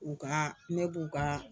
U ka ne b'u ka